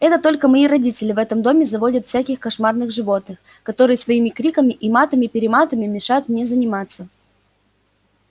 это только мои родители в этом доме заводят всяких кошмарных животных которые своими криками и матами-перематами мешают мне заниматься